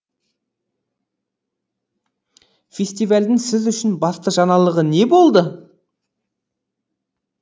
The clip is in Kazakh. фестивальдің сіз үшін басты жаңалығы не болды